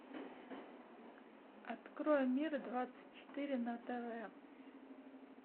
открой мир двадцать четыре на тв